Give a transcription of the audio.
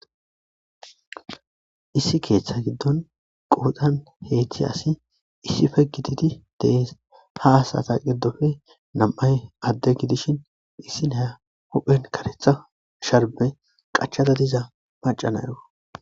Issi keeththa giddon qooxan heeththi asi issife gititi dees ha asata giddofe nam'ay adde gidishin issi naya huphen karetha sharme qachada diza macanayo.